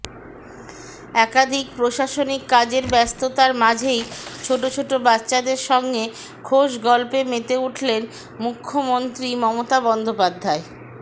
একাধিক প্রশাসনিক কাজের ব্যস্ততার মাঝেই ছোট ছোট বাচ্চাদের সঙ্গে খোশগল্পে মেতে উঠলেন মুখ্যমন্ত্রী মমতা বন্দ্যোপাধ্যায়